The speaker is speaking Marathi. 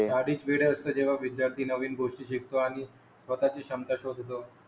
जेव्हा विद्यार्थी नवीन गोष्टी शिकतो आणि स्वतःची क्षमता शोधतो